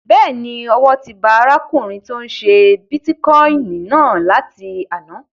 Bẹ́ẹ̀ni, owó ti ba arákùnrin tó n ṣe bítíkọ́ìnì náà láti àná